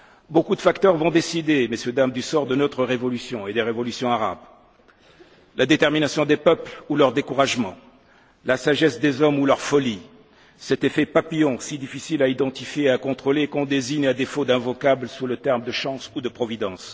Beaucoup de facteurs vont décider du sort de notre révolution et des révolutions arabes la détermination des peuples ou leur découragement, la sagesse des hommes ou leur folie, cet effet papillon si difficile à identifier et à contrôler et qu'on désigne, à défaut d'autre vocable, sous les termes de chance ou de providence.